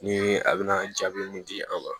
Ni a bɛna jaabi mun di an ma